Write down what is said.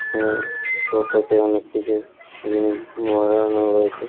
এখানে কৌটোতে অনেক কিছু জিনিস মোড়ানো রয়েছে।